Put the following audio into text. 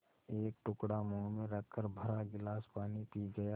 एक टुकड़ा मुँह में रखकर भरा गिलास पानी पी गया